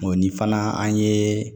ni fana an ye